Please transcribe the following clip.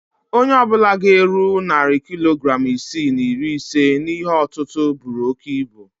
Onye ọ bụla ga-eru narị kilogram isii na iri ise n'ihe òtútú buru oke ibu